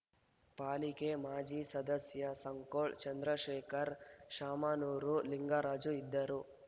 ಪಾಲಿಕೆ ಮಾಜಿ ಸದಸ್ಯ ಸಂಕೋಳ ಚಂದ್ರಶೇಖರ ಶಾಮನೂರು ಲಿಂಗರಾಜು ಇದ್ದರು